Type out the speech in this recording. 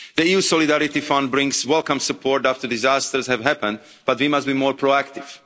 The EU Solidarity Fund brings welcome support after disasters have happened, but we must be more proactive.